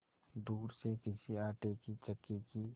दूर से किसी आटे की चक्की की